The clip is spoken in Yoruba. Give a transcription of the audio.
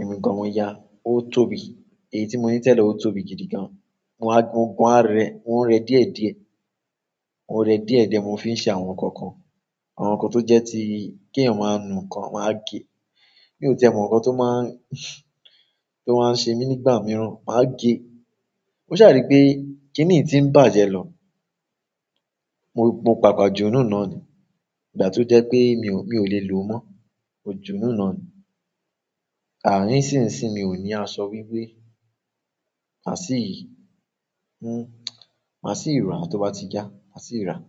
èmi gan-an mo yá, ó tóbi. Èyí tí mo ní tẹ́lẹ̀ ó tóbi gidi gan. Mo wá gun, mo wa rẹ, mó rẹ díẹ̀díẹ̀, mo rẹ díẹ̀díẹ̀, mo fi ń ṣe àwọn nǹkan kan. Àwọn nǹkan tó jẹ́ tí kí èèyàn máa nu nǹkan, máa gé. Mi ò tẹ mo nǹkan tó máa ń, tó máa ń ṣe mí nígbà mìíràn, màá gé. Mo ṣàrí pé kí nìí tí ń bàjẹ́ lọ. Mo, mo pàpà jù ú nù náà ni. Ìgbà tó jẹ́ pé mi ò, mi ò le lo mọ́, mo jù ú nù náà ni. Àh nsìnsìn mi ò ní aṣọ wíwé. Màá sì, n, màá sì rà á tó bá ti já, màá sì rà á.